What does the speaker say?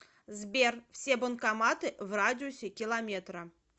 сбер все банкоматы в радиусе километра